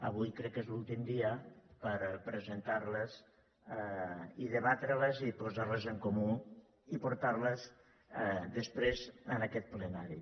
avui crec que és l’últim dia per presentar les i debatre les i posar les en comú i portar les després a aquest plenari